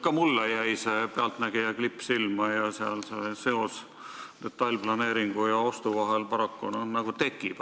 Ka mulle jäi see "Pealtnägija" klipp silma ning see seos detailplaneeringu ja ostu vahel paraku nagu tekib.